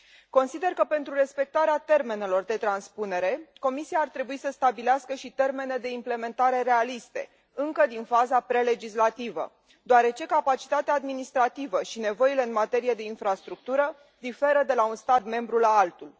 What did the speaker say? Consider că, pentru respectarea termenelor de transpunere, Comisia ar trebui să stabilească și termene de implementare realiste, încă din faza pre legislativă, deoarece capacitatea administrativă și nevoile în materie de infrastructură diferă de la un stat membru la altul.